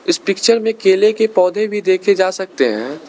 इस पिक्चर में केले के पौधे भी देखे जा सकते हैं।